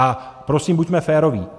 A prosím, buďme féroví.